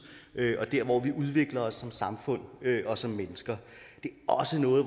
og dér hvor vi udvikler os som samfund og som mennesker det er også noget